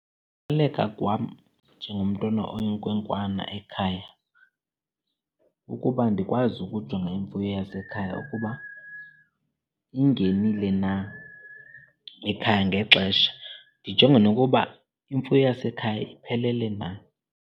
kwam njengomntwana oyinkwenkwana ekhaya kukuba andikwazi ukujonga imfuyo yasekhaya ukuba ingenile na ekhaya ngexesha, ndijonge nokuba imfuyo yasekhaya iphelele na.